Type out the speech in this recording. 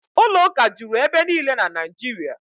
Ụlọụka juru ebe niile na Naịjirịa